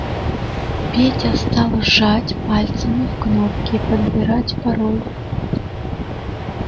петя стал жать пальцами в кнопки подбирать пароль